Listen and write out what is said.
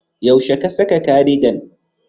Yaushe ka saka cardigan?